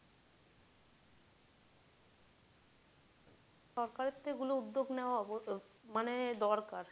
সরকারের তো এগুলো উদ্যোগ নেওয়া মানে দরকার।